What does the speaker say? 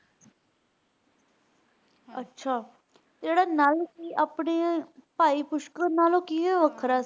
ਅੱਛਾ ਤੇ ਜਿਹੜਾ ਨਾਲ ਸੀ ਉਹ ਆਪਣੇ ਭਾਈ ਪੁਸ਼ਕਰ ਨਾਲੋਂ ਕਿਵੇਂ ਵੱਖਰਾ?